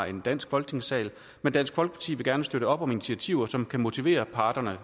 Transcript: i en dansk folketingssal men dansk folkeparti vil gerne støtte op om initiativer som kan motivere parterne